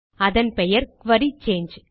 அதன் பெயர் குரி சாங்கே